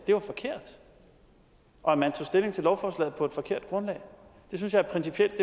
det var forkert og at man tog stilling til lovforslaget på et forkert grundlag det synes jeg er principielt